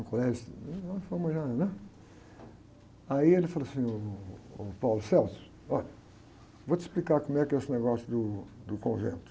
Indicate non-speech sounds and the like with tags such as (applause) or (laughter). Do colégio, uma fama já, né? Aí, ele falou assim, ô, ô, (unintelligible) ó, vou te explicar como é esse negócio do convento.